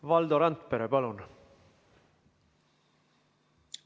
Valdo Randpere, palun!